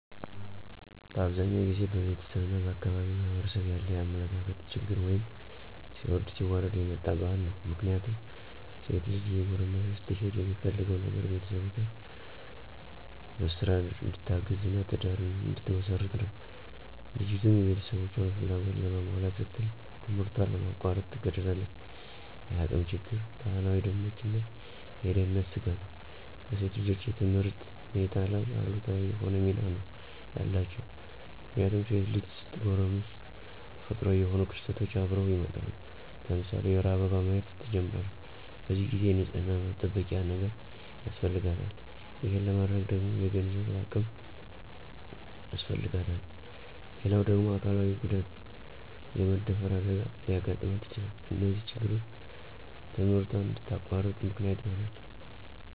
በአብዛኛው ጊዜ በቤተሰብ እና በአካባቢው ማህበረሰብ ያለ የአመለካከት ችግር ወይም ሲወርድ ሲዋረድ የመጣ ባህል ነው። ምክንያቱም ሴት ልጅ እየጎረመሰች ስትሄድ የሚፈለገው ነገር ቤተሰቦቿን በስራ እንድታግዝ እና ትዳር እንድትመሰርት ነው። ልጅቱም የቤተሰቦቿን ፍላጎት ለማሟላት ስትል ትምህርቷን ለማቋረጥ ትገደዳለች። የአቅም ችግር፣ ባህላዊ ደንቦች እና የደህንነት ስጋቶች በሴት ልጅ የትምህርት ሁኔታ ላይ አሉታዊ የሆነ ሚና ነው ያላቸው። ምክንያቱም ሴት ልጅ ስትጎረምስ ተፈጥሮአዊ የሆኑ ክስተቶች አብረው ይመጣሉ። ለምሳሌ የወር አበባ ማየት ትጀምራለች። በዚህ ጊዜ የንፅህና መጠበቂያ ነገር ያስፈልጋታል። ይሄን ለማድረግ ደግሞ የገንዘብ አቅም ያስፈልጋታል። ሌላው ደግሞ አካላዊ ጉዳት( የመደፈር አደጋ) ሊያጋጥማት ይችላል። እነዚህ ነገሮች ትምህርቷን እንድታቋርጥ ምክንያት ይሆናሉ።